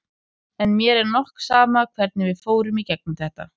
En mér er nokk sama hvernig við fórum í gegnum þetta.